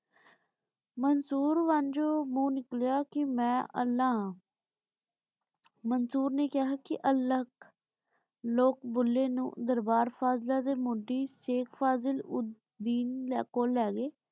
ਮੰਸੂਰ ਵਣਜੁ ਮੂ ਚੁਣ ਨਿਕ੍ਲ੍ਯਾ ਕੇ ਮੈਂ ਅਲ੍ਲਾਹ ਹਾਂ ਮੰਸੂਰ ਨੇ ਕਹਯ ਕੀ ਅਲਗ ਲੋਗ ਭੁੱਲੇ ਨੂ ਦਰਬਾਰ ਫਾਜ਼ਿਲਾ ਦੇ ਮੁੜੀ ਸ਼ੇਇਖ ਫ਼ਜ਼ਲ ਉੜ ਦਿਨ ਕੋਲ ਲੇ ਗਾਯ